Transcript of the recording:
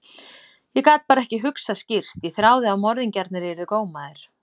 Ég gat bara ekki hugsað skýrt, ég þráði að morðingjarnir yrðu gómaðir.